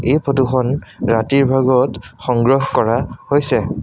এই ফটো খন ৰাতিৰ ভাগত সংগ্ৰহ কৰা হৈছে।